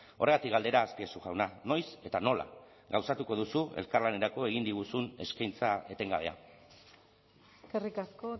horregatik galdera azpiazu jauna noiz eta nola gauzatuko duzu elkarlanerako egin diguzun eskaintza etengabea eskerrik asko